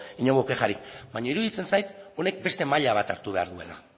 inongo kexarik baina iruditzen zait honek beste maila bat hartu behar duela